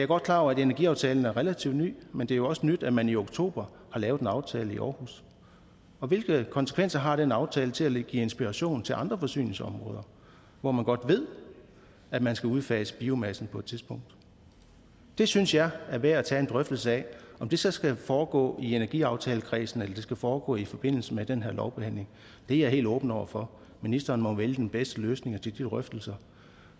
godt klar over at energiaftalen er relativt ny men det er jo også nyt at man i oktober har lavet en aftale i aarhus hvilke konsekvenser har den aftale til at give inspiration til andre forsyningsområder hvor man godt ved at man skal udfase biomassen på et tidspunkt det synes jeg er værd at tage en drøftelse af om det så skal foregå i energiaftalekredsen eller det skal foregå i forbindelse med den her lovbehandling er jeg helt åben over for ministeren må jo vælge den bedste løsning til de drøftelser